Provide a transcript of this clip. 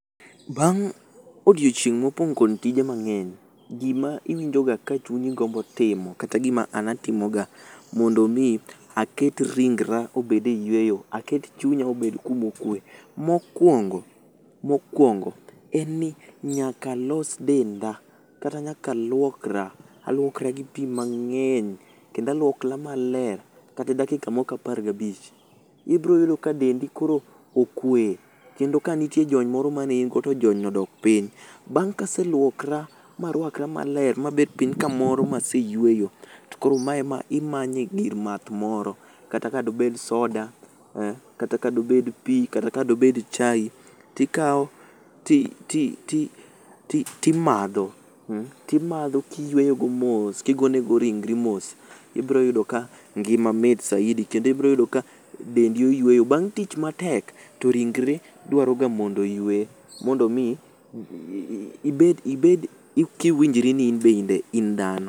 Bang' odiochieng' mopong' kod tije mang'eny, gima iwinjoga ka chunyi gombo timo kata gima an atimoga mondo mi aket ringra obed e yweyo, aket chunya obed kumokwe. Mokwongo, mokwongo, en ni nyakalos denda kata nyakaluokra. Alwokra gi pi mang'eny, kendalwokla maler kata dakika moko apargabich. Ibroyudo ka dendi koro okwe, kendo kanitie jony moro manein go to jonyno odok piny. Bang' ka aselwokra marwakra maler mabet piny kamoro maseyweyo, to koro maema imanye gir math moro. Kata ka dobed soda, kata ka dobed pi, kata ka dobed chai, tikawo timadho. Timadho kiyweyogo mos kigonego ringri mos, ibroyudo ka ngima mit saidi, kendo ibroyudo ka dendi oyweyo. Bang' tich matek, to ringre dwaroga mondo oywe mondo mi ibed kiwinjri ni inbe in dhano.